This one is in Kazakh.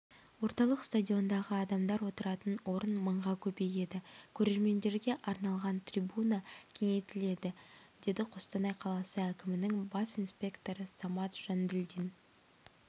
орталық стадиондағы адамдар отыратын орын мыңға көбейеді көрермендерге арналған трибуна кеңейтіледі деді қостанай қаласы әкімінің бас инспекторы самат жанділдин